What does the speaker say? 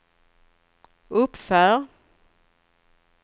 uppför